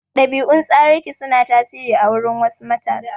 Ɗabi'un tsararraki su na tasiri a wurin wasu matasa.